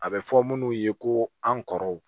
A bɛ fɔ munnu ye ko an kɔrɔw